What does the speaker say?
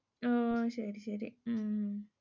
அஹ் சரி, சரி உம்